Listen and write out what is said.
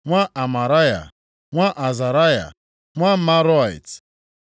nwa Amaraya, nwa Azaraya, nwa Meraiot,